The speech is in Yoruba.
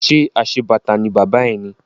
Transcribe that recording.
Ṣé aṣebàtà ni bàbá ẹ ni?